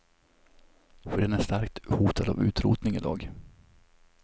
För den är starkt hotad av utrotning i dag.